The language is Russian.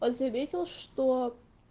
он заметил что